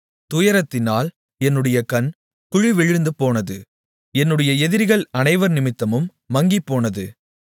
துயரத்தினால் என்னுடைய கண் குழி விழுந்துபோனது என்னுடைய எதிரிகள் அனைவர் நிமித்தமும் மங்கிப்போனது